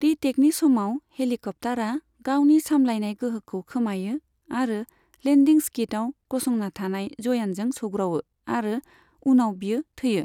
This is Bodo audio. रिटेकनि समाव, हेलिकप्तारा गावनि सामलायनाय गोहोखौ खोमायो आरो लेन्दिं स्किदआव गसंना थानाय जयानजों सौग्रावो आरो उनाव बियो थैयो।